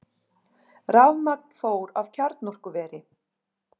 Rafmagn fór af kjarnorkuveri